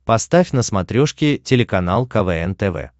поставь на смотрешке телеканал квн тв